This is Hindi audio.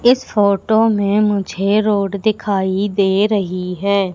इस फोटो में मुझे रोड दिखाई दे रही है।